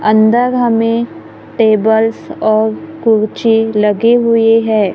अंदर हमें टेबल्स और कुर्सी लगी हुई है।